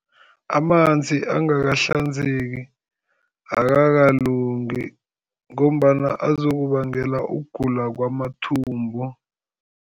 Amanzi angakahlanzeki akakalungi ngombana azokubangela ukugula kwamathumbu.